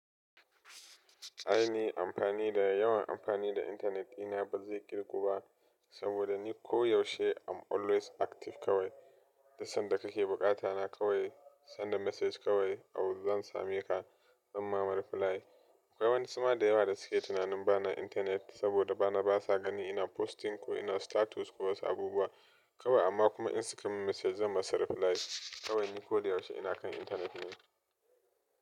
Aini amfani da yawan amfani da internet ɗina bazai ƙirgu ba, saboda ni ko yaushe I'm always active kawai. Duk sanda kake bukata ta kawai, send the message kawai, zan same ka zan ma reply. Akwai wasu ma da yawa da suke tunanin bana internet saboda basa ganin ina posting ko ina status ko wasu abubuwa kawai amma kuma in sukamin message zan musu reply. Kawai ni koda yaushe ina kan internet ne.